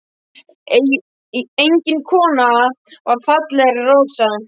Engin kona var fallegri en Rósa.